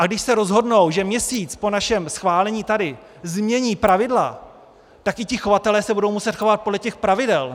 A když se rozhodnou, že měsíc po našem schválení tady změní pravidla, tak i ti chovatelé se budou muset chovat podle těch pravidel.